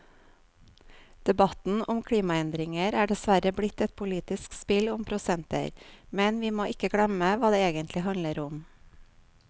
Debatten om klimaendringer er dessverre blitt et politisk spill om prosenter, men vi må ikke glemme hva det egentlig handler om.